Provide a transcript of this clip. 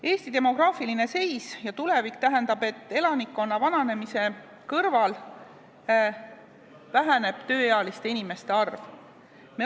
Eesti demograafiline seis tähendab, et elanikkonna vananemise kõrval väheneb tulevikus tööealiste inimeste arv.